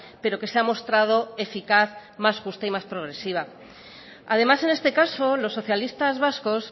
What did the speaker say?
pero que se ha mostrado eficaz más justa y más progresiva además en este caso los socialistas vascos